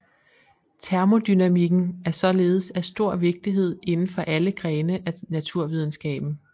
Termodynamikken er således af stor vigtighed inden for alle grene af naturvidenskaben